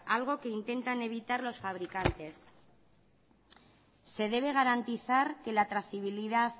algo que intentan evitar los fabricantes se debe garantizar que la trazabilidad